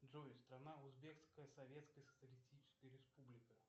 джой страна узбекская советская социалистическая республика